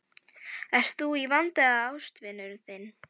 Ert þú í vanda eða ástvinur þinn?